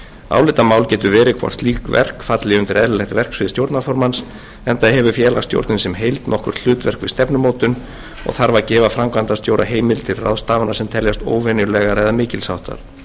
álitamál getur verið hvort slík verk falli undir eðlilegt verksvið stjórnarformanns enda hefur félagsstjórnin sem heild nokkurt hlutverk við stefnumótun og þarf að gefa framkvæmdastjóra heimild til ráðstafana sem teljast óvenjulegar eða mikils háttar ekkert er þó því